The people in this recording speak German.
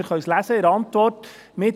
Wir können es in der Antwort lesen.